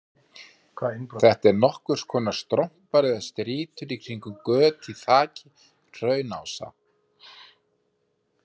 Þetta eru nokkurs konar strompar eða strýtur í kringum göt í þaki hraunrása.